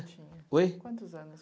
tinha. Oi? Quantos anos